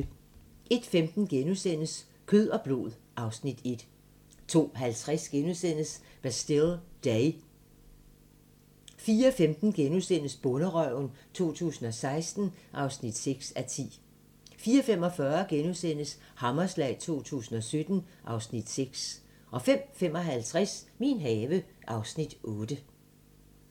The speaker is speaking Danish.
01:15: Kød og blod (Afs. 1)* 02:50: Bastille Day * 04:15: Bonderøven 2016 (6:10)* 04:45: Hammerslag 2017 (Afs. 6)* 05:55: Min have (Afs. 8)